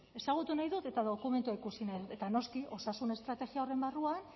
ezagutu nahi dut eta dokumentua ikusi nahi dut eta noski osasun estrategia horren barruan